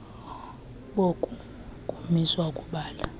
boku kumiswa ukubala